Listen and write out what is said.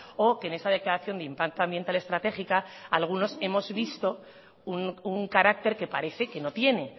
o que en esa declaración de impacto ambiental estratégica algunos hemos visto un carácter que parece que no tiene